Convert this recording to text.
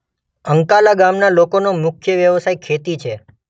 અંકાલા ગામના લોકોનો મુખ્ય વ્યવસાય ખેતી છે.